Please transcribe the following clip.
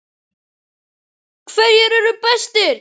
HVERJIR ERU BESTIR?